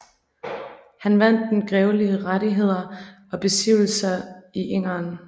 Han vandt der grevelige rettigheder og besiddelser i Engern